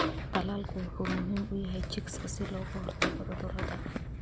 Tallaalku wuxuu muhiim u yahay chicks si looga hortago cudurrada.